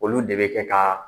Olu de bɛ kɛ ka